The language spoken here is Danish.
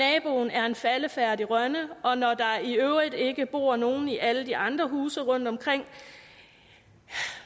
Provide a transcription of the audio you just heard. er en faldefærdig rønne og når der i øvrigt ikke bor nogen i alle de andre huse rundtomkring